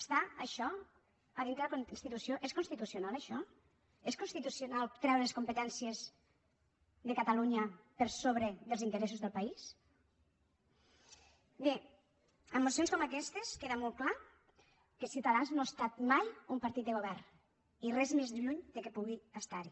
està això a dintre de la constitució és constitucional això és constitucional treure competències de catalunya per sobre dels interessos del país bé amb mocions com aquestes queda molt clar que ciutadans no ha estat mai un partit de govern i res més lluny que pugui estar hi